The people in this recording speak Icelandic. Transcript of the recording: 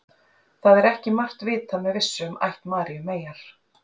það er ekki margt vitað með vissu um ætt maríu meyjar